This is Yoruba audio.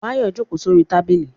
Báyọ̀ jókòó sórí tábìlì